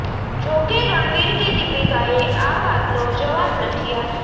જોકે રણવીર કે દીપિકાએ આ વાતનો જવાબ નથી આપ્યો